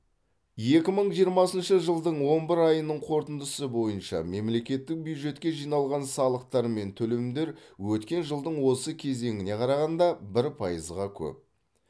екі мың жиырмасыншы жылдың он бір айының қорытындысы бойынша мемлекеттік бюджетке жиналған салықтар мен төлемдер өткен жылдың осы кезеңіне қарағанда бір пайызға көп